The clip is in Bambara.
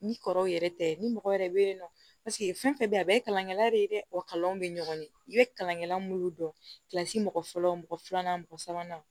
Ni kɔrɔw yɛrɛ tɛ ni mɔgɔ wɛrɛ be yen nɔ paseke fɛn fɛn bɛ yen a bɛɛ ye kalankɛla de ye dɛ o kalanw be ɲɔgɔn ye i be kalan kɛla minnu dɔnsi mɔgɔ fɔlɔ mɔgɔ filanan mɔgɔ sabanan